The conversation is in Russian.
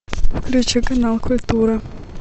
включи канал культура